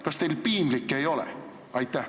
Kas teil piinlik ei ole?